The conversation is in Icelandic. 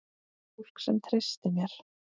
Fólk sem treysti mér.